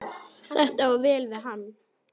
Þetta á vel við hann.